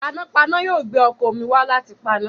Panápaná yóò gbé ọkọ̀ omi wá láti paná.